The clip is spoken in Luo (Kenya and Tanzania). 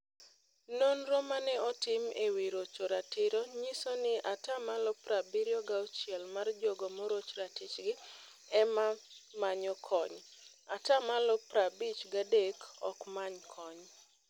Nonro mane otim ewi rocho ratiro nyiso ni atamalo prabirio gauchiel mar jogo moroch ratichgi ema manyo kony. Atamalo prabich gadek okmany kony.